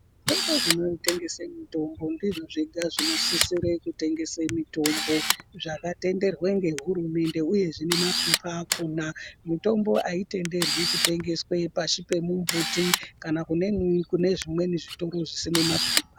Toro zvinotengese mutombo ndizvo zvega zvinosise kutengese mutombo zvakatenderwa ngehurumende uye zvine mapepa alhona mitombo aitenderwi kutengeswe pashi pemumbuti kana kumweni kune zvitoro zvisine mapepa.